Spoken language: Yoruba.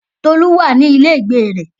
Tolu wà ní ilé ìgbé rẹ̀.